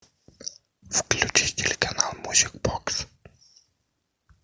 включи телеканал мьюзик бокс